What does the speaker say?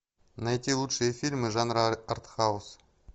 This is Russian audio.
найти лучшие фильмы жанра арт хаус